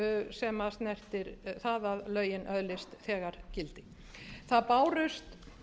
sem snertir það að lögin öðlist þegar gildi það bárust